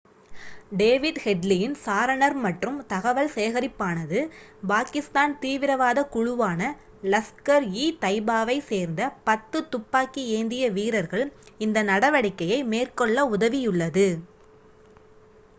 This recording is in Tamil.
டேவிட் ஹெட்லியின் சாரணர் மற்றும் தகவல் சேகரிப்பானது பாகிஸ்தான் தீவிரவாத குழுவான லஸ்கர்-இ-தைபாவைச் சேர்ந்த 10 துப்பாக்கி ஏந்திய வீரர்கள் இந்த நடவடிக்கையை மேற்கொள்ள உதவியுள்ளது